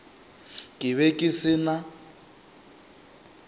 ke be ke se na